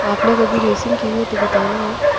आपने कभी रेसिंग की हो तो बताना---